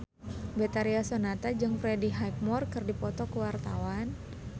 Betharia Sonata jeung Freddie Highmore keur dipoto ku wartawan